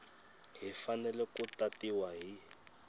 yi fanele ku tatiwa hi